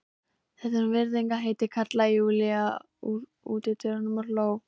Það er virðingarheiti, kallaði Júlía úr útidyrunum og hló.